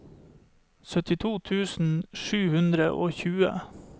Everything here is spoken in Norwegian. syttito tusen sju hundre og tjue